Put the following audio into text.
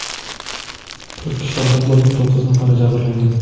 To‘rt kishi halok bo‘lgan, to‘qqiz nafari jabrlangan.